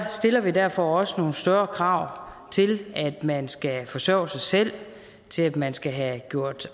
stiller vi derfor også nogle større krav til at man skal forsørge sig selv til at man skal have gjort